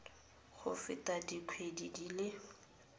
go feta dikgwedi di le